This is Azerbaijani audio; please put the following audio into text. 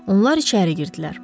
Onlar içəri girdilər.